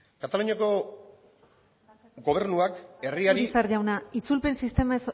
kataluniako gobernuak herriari urizar jauna itzulpen sistema